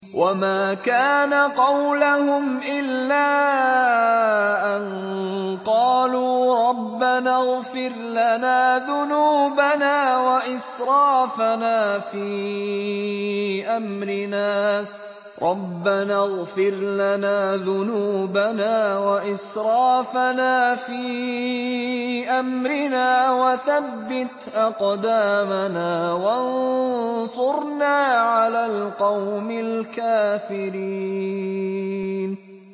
وَمَا كَانَ قَوْلَهُمْ إِلَّا أَن قَالُوا رَبَّنَا اغْفِرْ لَنَا ذُنُوبَنَا وَإِسْرَافَنَا فِي أَمْرِنَا وَثَبِّتْ أَقْدَامَنَا وَانصُرْنَا عَلَى الْقَوْمِ الْكَافِرِينَ